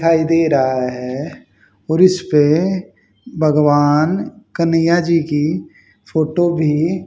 दिखाई दे रहा है और इसपे भगवान कन्हैया जी की फोटो भी--